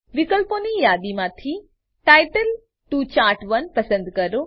વિકલ્પોની યાદીમાંથી title to chart one પસંદ કરો